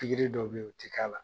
dɔ be yen, o ti k'a la.